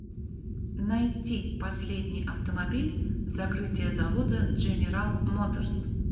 найти последний автомобиль закрытие завода дженерал моторс